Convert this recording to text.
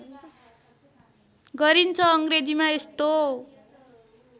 गरिन्छ अङ्ग्रेजीमा यस्तो